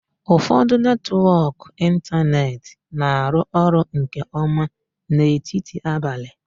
Ụfọdụ netwọk ịntanetị na-arụ ọrụ nke ọma n'etiti abalị.